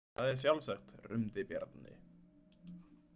Það er sjálfsagt, rumdi Bjarni.